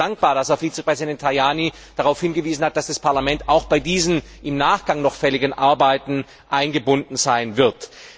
Ich bin sehr dankbar, dass Herr Vizepräsident Tajani darauf hingewiesen hat, dass das Parlament auch bei diesen im Nachgang noch fälligen Arbeiten eingebunden sein wird.